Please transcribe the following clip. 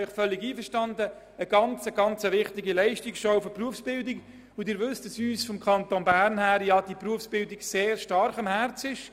Gleichzeitig ist es eine äusserst wichtige Leistungsschau der Berufsbildung, und Sie wissen, dass uns im Kanton Bern die Berufsbildung sehr stark am Herzen liegt.